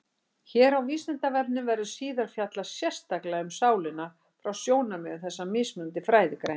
Hér á Vísindavefnum verður síðar fjallað sérstaklega um sálina frá sjónarmiðum þessara mismunandi fræðigreina.